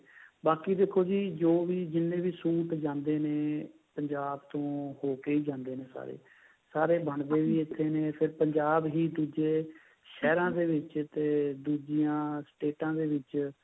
ਬਾਕੀ ਦੇਖੋ ਜੀ ਜੋ ਵੀ ਜਿਵੇਂ ਵੀ suit ਜਾਂਦੇ ਨੇ ਪੰਜਾਬ ਤੋਂ ਹੋਕੇ ਹੀ ਜਾਂਦੇ ਨੇ ਸਾਰੇ ਬਣਦੇ ਵੀ ਇੱਥੇ ਨੇ ਫੇਰ ਪੰਜਾਬ ਹੀ ਦੁੱਜੇ ਸ਼ਹਿਰਾ ਦੇਵਿਚ ਤੇ ਦੂਜਿਆ ਸਟੇਟਾ ਦੇ ਵਿੱਚ